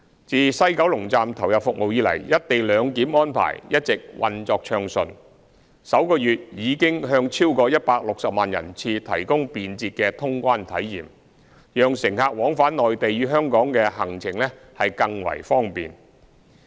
自西九龍站投入服務以來，"一地兩檢"安排一直運作暢順，首月已向超過160萬人次提供便捷的通關體驗，讓乘客往返內地與香港的行程更為方便。